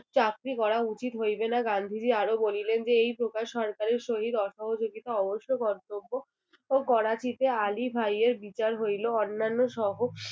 চাকরি করা উচিত হইবে না গান্ধীজী আরো বলিলেন যে এই প্রকার সরকারের সহিত অসহযোগিতা অবশ্য কর্তব্য ও করাচিতে আলী ভাইয়ের বিচার হইলো অন্যান্য সহ